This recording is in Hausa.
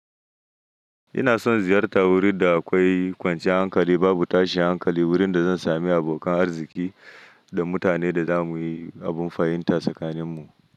Ina son ziyarta wurin da akwai kwanciyar hankali, babu tashin hankali, wurin da zan sami abokan arziki da mutanen da za mu yi abun fahimta tsakaninmu.